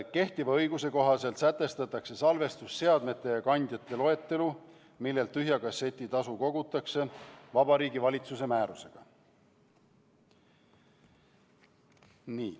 Kehtiva õiguse kohaselt sätestatakse salvestusseadmete ja ‑kandjate loetelu, millelt tühja kasseti tasu kogutakse, Vabariigi Valitsuse määrusega.